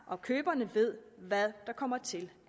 og køberne ved hvad der kommer til